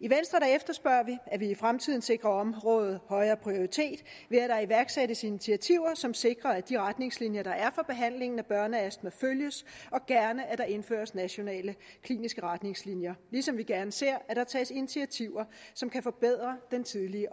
i venstre efterspørger vi at vi i fremtiden sikrer området højere prioritet ved at der iværksættes initiativer som sikrer at de retningslinjer der er for behandlingen af børneastma følges og gerne at der indføres nationale kliniske retningslinjer ligesom vi gerne ser at der tages initiativer som kan forbedre den tidlige